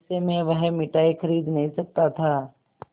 ऐसे में वह मिठाई खरीद नहीं सकता था